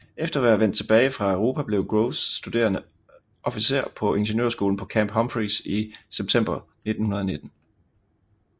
Efter at være vendt tilbage fra Europa blev Groves studerende officer på ingeniørskolen på Camp Humphreys i september 1919